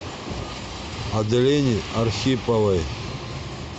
аделине архиповой